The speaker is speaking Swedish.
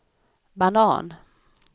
banan